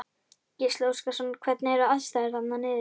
Gísli Óskarsson: Hvernig eru aðstæður þarna niðri?